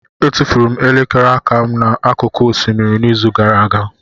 Etufuru m elekere aka m n'akụkụ osimiri n'izu gara aga.